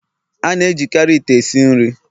A na-ejikarị ite esi nri